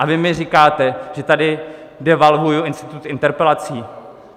A vy mi říkáte, že tady devalvuji institut interpelací.